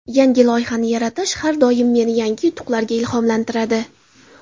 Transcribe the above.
Yangi loyihani yaratish har doim meni yangi yutuqlarga ilhomlantiradi.